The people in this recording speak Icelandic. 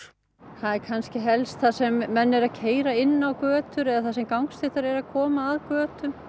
það er kannski helst þar sem menn eru að keyra inn á götur eða þar sem gangstéttar eru að koma að götum